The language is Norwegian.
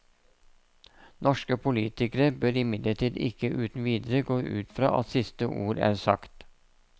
Norske politikere bør imidlertid ikke uten videre gå ut fra at siste ord er sagt.